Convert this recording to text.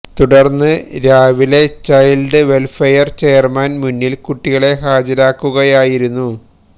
തുടര്ന്ന് രാവിലെ child welfare chairman മുന്നില് കുട്ടികളെ ഹാജരാക്കുകയായിരുന്നു